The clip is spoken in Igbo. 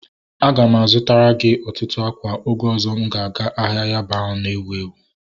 A ga m a zụtara gị ọtụtụ ákwà oge ọzọ m ga eje ahịa Yaba ahụ na-ewu ewu